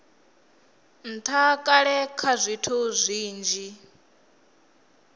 ntha kale kha zwithu zwinzhi